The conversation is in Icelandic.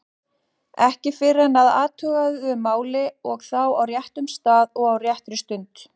Ekki fyrr en að athuguðu máli og þá á réttum stað og á réttri stundu.